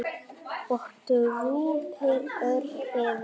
og drúpir örn yfir.